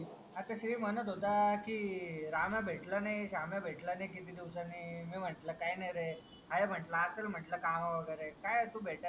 आता श्री म्हणत होता की राम्या भेटला नाही राम्या भेटला नाही किती दिवसांनी. मी म्हंटलं काही नाही रेआहे म्हंटलं असेल म्हंटलं काम वगेरे. काय तू भेटत नाही काही नाही